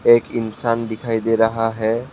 एक इंसान दिखाई दे रहा है।